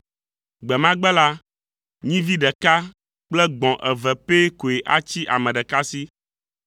Gbe ma gbe la, nyivi ɖeka kple gbɔ̃ eve pɛ koe atsi ame ɖeka si.